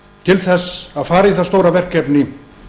til þess að fara í það stóra verkefni